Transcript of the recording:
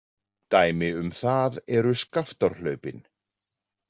Dæmi um það eru Skaftárhlaupin.